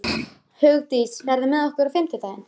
Hugdís, ferð þú með okkur á fimmtudaginn?